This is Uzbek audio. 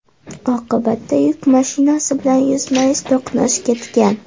Oqibatda yuk mashinasi bilan yuzma-yuz to‘qnash ketgan.